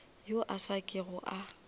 yo a sa kego a